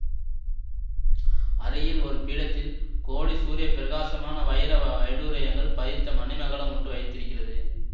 அருகில் ஒரு பீடத்தில் கோடி சூரிய பிரகாசமான வைர வைடூரியங்கள் பதித்த மணிமகுடம் ஒன்று வைத்திருக்கிறது